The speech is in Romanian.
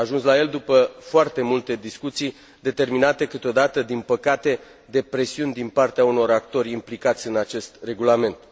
S a ajuns la el după foarte multe discuții, determinate câteodată, din păcate, de presiuni din partea unor actori implicați în acest Regulament.